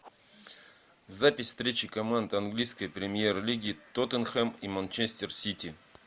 запись встречи команд английской премьер лиги тоттенхэм и манчестер сити